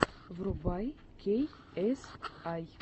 врубай кей эс ай